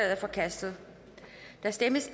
er forkastet der stemmes